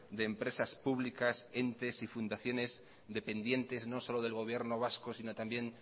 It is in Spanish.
de empresas públicas entes y fundaciones dependientes no solo del gobierno vasco sino también